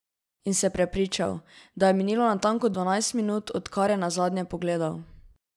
In se prepričal, da je minilo natanko dvanajst minut, odkar je nazadnje pogledal.